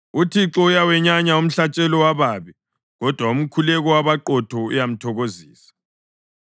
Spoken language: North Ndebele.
UThixo uyawenyanya umhlatshelo wababi, kodwa umkhuleko wabaqotho uyamthokozisa.